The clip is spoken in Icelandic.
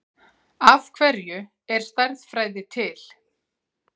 Af hverju er stærðfræði til?